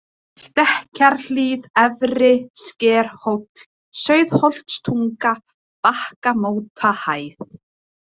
Stekkjarhlíð, Efri-Skerhóll, Sauðholtstunga, Bakkamótahæð